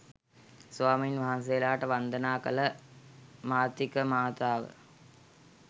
ස්වාමීන් වහන්සේලාට වන්දනා කළ මාතිකමාතාව